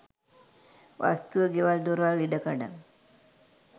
වස්තුව ගෙවල් දොරවල් ඉඩ කඩම්.